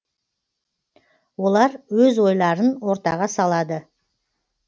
олар өз ойларын ортаға салады